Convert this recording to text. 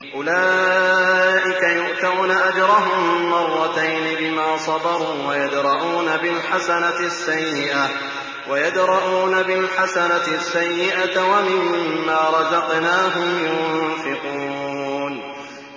أُولَٰئِكَ يُؤْتَوْنَ أَجْرَهُم مَّرَّتَيْنِ بِمَا صَبَرُوا وَيَدْرَءُونَ بِالْحَسَنَةِ السَّيِّئَةَ وَمِمَّا رَزَقْنَاهُمْ يُنفِقُونَ